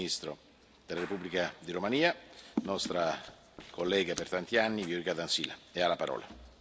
il Primo ministro della Repubblica di Romania, nostra collega per tanti anni, Viorica Dăncilă, ha la parola.